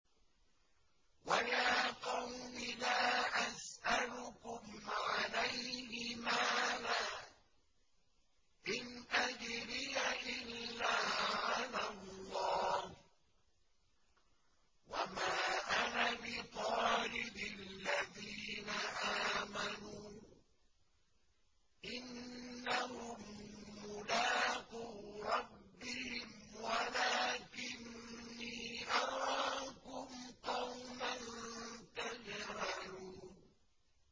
وَيَا قَوْمِ لَا أَسْأَلُكُمْ عَلَيْهِ مَالًا ۖ إِنْ أَجْرِيَ إِلَّا عَلَى اللَّهِ ۚ وَمَا أَنَا بِطَارِدِ الَّذِينَ آمَنُوا ۚ إِنَّهُم مُّلَاقُو رَبِّهِمْ وَلَٰكِنِّي أَرَاكُمْ قَوْمًا تَجْهَلُونَ